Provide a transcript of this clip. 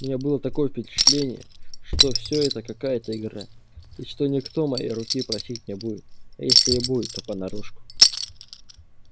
у меня было такое впечатление что всё это какая-то игра и что никто моей руки просить не будет а если и будет то понарошку